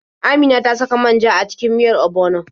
Amina ta saka man ja a cikin miyar ogbono.